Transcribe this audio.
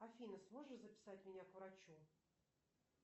афина сможешь записать меня к врачу